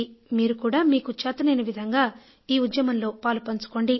మీరు కూడా మీకు చేతనైన విధంగా ఈ ఉద్యమంలో పాలుపంచుకోండి